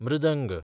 मृदंग